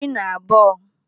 12